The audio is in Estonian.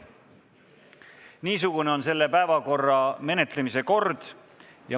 Niisugune on selle päevakorrapunkti menetlemise kord.